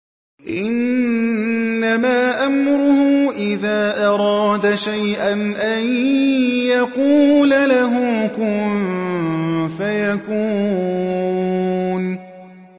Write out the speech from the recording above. إِنَّمَا أَمْرُهُ إِذَا أَرَادَ شَيْئًا أَن يَقُولَ لَهُ كُن فَيَكُونُ